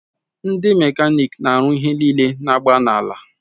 Ndi mekanik n'aru ihe nile n'agba n'ala